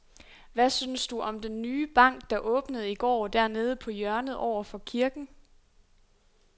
Hvad synes du om den nye bank, der åbnede i går dernede på hjørnet over for kirken?